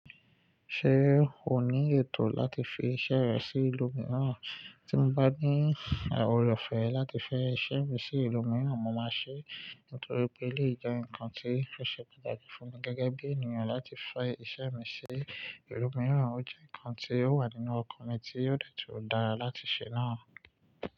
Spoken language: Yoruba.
Ṣé o ní ètò láti fi iṣẹ́ rẹ sí ìlú mìíràn? Tí mo bá ní àwọn ọ̀rọ̀ ọ̀fẹ́ láti fẹ́ iṣẹ́ mi sí ìlú mìíràn, mo máa ṣe é. Nítorí pé eleyii jẹ nǹkan tí o ṣe pàtàkì fún mi gẹ́gẹ́ bí ènìyàn láti fẹ́ iṣẹ́ mi sí ìlú mìíràn. Ó jẹ́ nǹkan tí ó wà nínú ọkàn mi tí ó de tun dára láti ṣe náà.